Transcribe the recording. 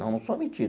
Não, não sou metida.